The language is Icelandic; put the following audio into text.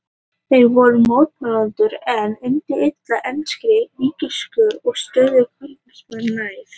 Þeir voru mótmælendur en undu illa enskri ríkiskirkju og stóðu kalvínismanum nær.